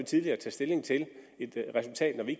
tidligt at tage stilling til et resultat når vi